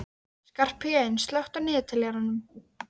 Skarphéðinn, slökktu á niðurteljaranum.